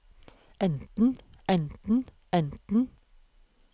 enten enten enten